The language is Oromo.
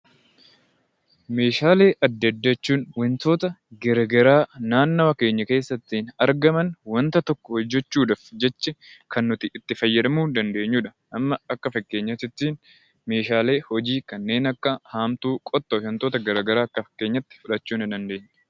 Meeshaalee adda addaa jechuun wantoota gara garaa naanmoo keenya keessatti argaman wanta tokko hojjechuu dhaaf jecha kan nuti itti fayyadamuu dandeenyu dha. Amma akka fakkeenyaatiitti meeshaalee hojii kanneen akka haamtuu, qottoo fi wantoota gara garaa akka fakkeenyaatti fudhachuu ni dandeenya.